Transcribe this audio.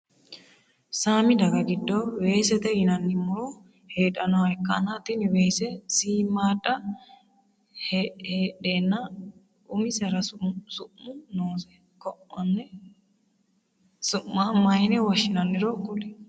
Saami daga gido woosete yinnanni muro heedhanoha ikanna tinni weese siimaada heedhenna umisera su'mu noose koenne su'ma mayine woshinnanniro kuli?